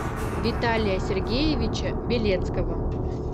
виталия сергеевича белецкого